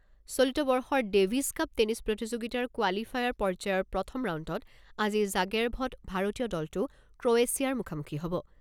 চলিত বৰ্ষৰ Davis Cup tennis প্ৰতিযোগিতাৰ কোৱালিফায়াৰ পৰ্যায়ৰ প্ৰথম ৰাউণ্ডত আজি জাগেৰ্ভত ভাৰতীয় দলটো ক্ৰ'ৱেছিয়াৰ মুখামুখি হ'ব।